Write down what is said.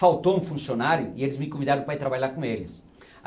Faltou um funcionário e eles me convidaram para ir trabalhar com eles.